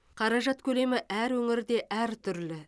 қаражат көлемі әр өңірде әртүрлі